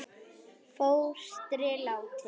Fóstri látinn.